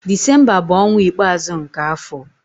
Disemba bụ ọnwa ikpeazụ nke afọ.